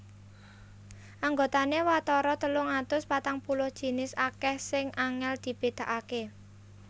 Anggotané watara telung atus patang puluh jinis akèh sing angèl dibédakaké